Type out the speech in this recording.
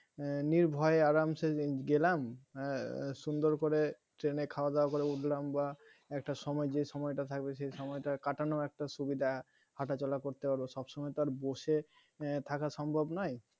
নির্ভয় আরামসে গেলাম আহ সুন্দর করে train এ খাওয়া দাওয়া করে উঠলাম বা একটা সময় যে সময়টা থাকবে সে সময় টা কাটানোর একটা সুবিধা হাঁটাচলা করতে পারব সব সময় তো আর বসে এর থাকা সম্ভব নয়